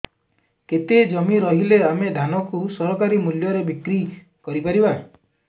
କେତେ ଜମି ରହିଲେ ଆମେ ଧାନ କୁ ସରକାରୀ ମୂଲ୍ଯରେ ବିକ୍ରି କରିପାରିବା